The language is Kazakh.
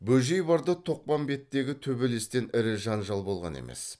бөжей барда тоқпамбеттегі төбелестен ірі жанжал болған емес